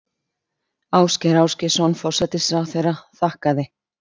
Ásgeir Ásgeirsson forsætisráðherra þakkaði